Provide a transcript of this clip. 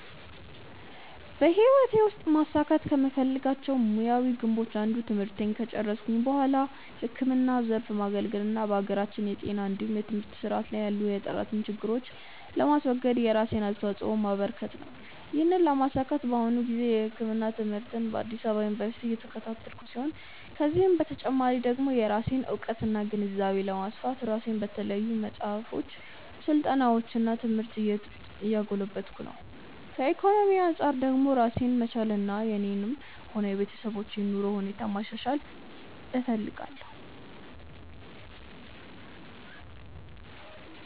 በህይወቴ ውስጥ ማሳካት ከምፈልጋቸው ሙያዊ ግቦች አንዱ ትምህርቴን ከጨረስኩ በኋላ ህክምናው ዘርፍ ማገልገል እና የሀገራችንን የጤና እንዲሁም የትምህርት ስርዓት ላይ ያሉ የጥራት ችግሮችን ለማስወገድ የራሴን አስተዋጾ ማበረከት ነው። ይህንን ለማሳካት በአሁኑ ጊዜ የህክምና ትምህርትን በአዲስ አበባ ዩኒቨርሲቲ እየተከታተልኩ ሲሆን ከዚህ በተጨማሪ ደግሞ የራሴን እውቀትና ግንዛቤ ለማስፋት ራሴን በተለያዩ መጽሐፎች፣ ስልጠናዎች እና ትምህርት እያጎለበትኩ ነው። ከኢኮኖሚ አንጻር ደግሞ ራሴን መቻልና የኔንም ሆነ የቤተሰቦችን የኑሮ ሁኔታ ማሻሻል እፈልጋለሁ።